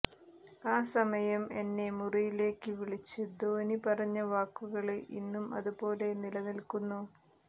ആ സമയം എന്നെ മുറിയിലേക്ക് വിളിച്ച് ധോനി പറഞ്ഞ വാക്കുകള് ഇന്നും അതുപോലെ നിലനില്ക്കുന്നു